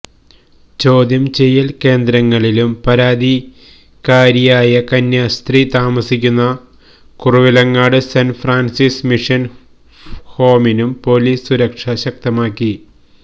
ചോദ്യം ചെയ്യൽ കേന്ദ്രങ്ങളിലും പരാതിക്കാരിയായ കന്യാസ്ത്രീ താമസിക്കുന്ന കുറവിലങ്ങാട് സെന്റ് ഫ്രാൻസിസ് മിഷൻ ഹോമിനും പൊലീസ് സുരക്ഷ ശക്തമാക്കി